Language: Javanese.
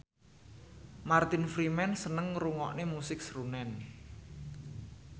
Martin Freeman seneng ngrungokne musik srunen